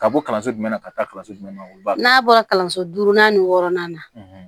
Ka bɔ kalanso jumɛn na ka taa kalanso jumɛn na n'a bɔra kalanso duurunan ni wɔɔrɔnan na